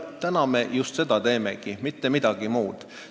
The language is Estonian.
Täna me just seda heastamegi, me ei tee mitte midagi muud.